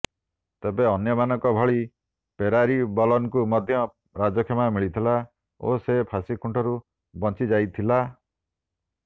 ତେବେ ଅନ୍ୟମାନଙ୍କ ଭଳି ପେରାରିବଲନକୁ ମଧ୍ୟ ରାଜକ୍ଷମା ମିଳିଥିଲା ଓ ସେ ଫାଶୀ ଖୁଣ୍ଟରୁ ବଂଚିଯାଇଥିଲା